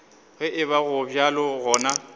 ge eba go bjalo gona